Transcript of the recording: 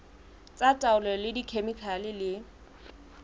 tsa taolo ka dikhemikhale le